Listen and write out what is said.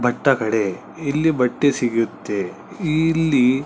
ಭತ್ತ ಕಡೆ ಇಲ್ಲಿ ಬಟ್ಟೆ ಸಿಗುತ್ತೆ ಇಲ್ಲಿ--